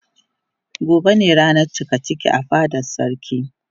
Gobe ne ranan cikaciki a fadan sarki.